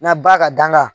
N'a ba ka dan ka